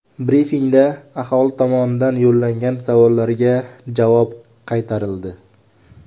Brifingda aholi tomonidan yo‘llangan savollarga javob qaytarildi.